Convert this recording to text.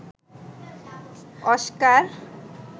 Oscar